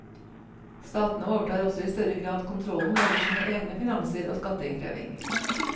Statene overtar også i større grad kontrollen over sine egne finanser og skatteinnkreving.